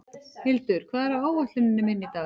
Hildur, hvað er á áætluninni minni í dag?